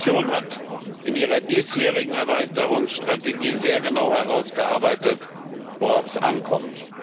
Die Kommission hat in ihrer diesjährigen Erweiterungsstrategie sehr genau herausgearbeitet, worauf es ankommt.